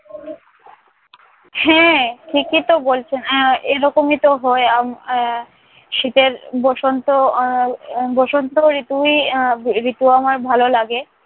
হ্যাঁ ঠিকইতো বলছেন। আহ এই রকমইতো হয়। আব আহ শীতের বসন্ত আহ এর বসন্ত ঋতুই আহ ঋতু আমার ভালো লাগে।